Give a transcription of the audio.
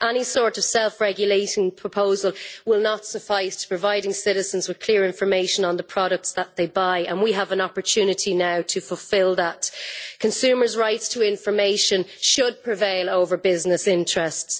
Any sort of self-regulating proposal will not suffice when it comes to providing citizens with clear information on the products that they buy, and we have an opportunity now to fulfil that. Consumers' rights to information should prevail over business interests.